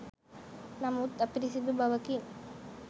නමුත් අපිරිසිදු බවකින්